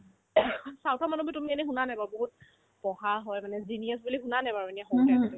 south ৰ মানুহতো তুমি এনে শুনা নাই বাৰু বহুত পঢ়া হয় মানে genius বুলি শুনানে বাৰু এতিয়া সেনে type তে